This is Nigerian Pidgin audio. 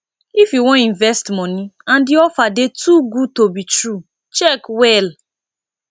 if you wan invest money and di offer dey too good to be true check well